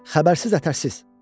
Xəbərsiz-ətərsiz.